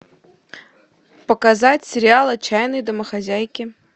показать сериал отчаянные домохозяйки